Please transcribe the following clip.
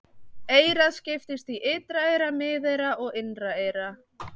Eyrað skiptist í ytra eyra, miðeyra og innra eyra.